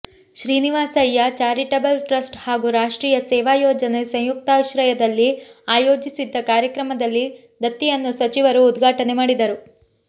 Srinivasaiah charitable trust ಹಾಗೂ ರಾಷ್ಟ್ರೀಯ ಸೇವಾ ಯೋಜನೆ ಸಂಯುಕ್ತಾಶ್ರಯದಲ್ಲಿ ಆಯೋಜಿಸಿದ್ದ ಕಾರ್ಯಕ್ರಮದಲ್ಲಿ ದತ್ತಿಯನ್ನು ಸಚಿವರು ಉದ್ಘಾಟನೆ ಮಾಡಿದರು